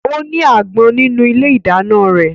Ó ní àgbọn nínú ilé ìdáná rẹ̀